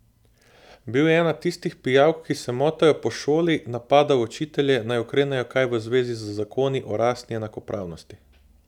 Bil je ena tistih pijavk, ki se motajo po šoli, napadal učitelje, naj ukrenejo kaj v zvezi z zakoni o rasni enakopravnosti.